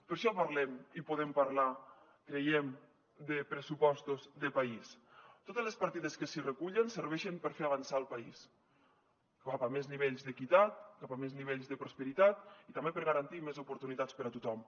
per això parlem i podem parlar creiem de pressupostos de país totes les partides que s’hi recullen serveixen per fer avançar el país cap a més nivells d’equitat cap a més nivells de prosperitat i també per garantir més oportunitats per a tothom